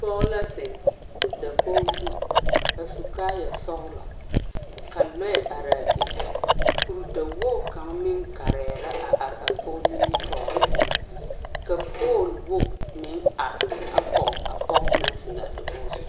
Poge la zeŋ dakoɔ zu a su kaaya sɔglɔ ka lɔe are a be. Kur dawoge kang meŋ gareɛ la a are a poge nimitoore seŋ. Ka pol woge meŋ are a kɔge a poge na zeŋ a dakoge zu